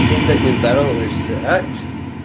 что блять не здороваешься а